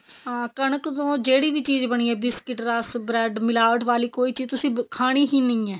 ਹਾਂ ਕਣਕ ਤੋਂ ਜਿਹੜੀ ਵੀ ਚੀਜ਼ ਬਣੀ ਏ biscuit rush bread ਮਿਲਾਵਟ ਵਾਲੀ ਕੋਈ ਚੀਜ਼ ਤੁਸੀਂ ਖਾਣੀ ਹੀ ਨਹੀਂ ਏ